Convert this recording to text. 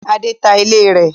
Adé ta ilé rẹ̀.